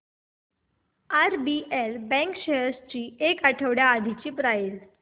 RBL bank shares ची एक आठवड्या आधीची प्राइस